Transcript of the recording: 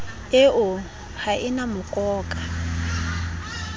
eo ha e na mokoka